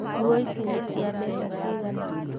Nguo ici nĩ cia mbeca cigana?